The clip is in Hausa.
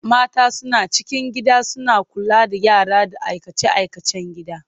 Mata suna cikin gida suna kula da yara da aikace-aikacen gida.